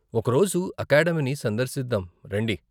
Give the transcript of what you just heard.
ఒక రోజు అకాడమిని సందర్శిదాం రండి!.